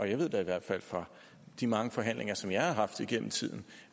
jeg ved da i hvert fald fra de mange forhandlinger som jeg har haft igennem tiden